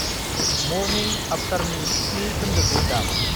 मरनिं आफ्टारनि स्नि खोन्दोखौ दाम।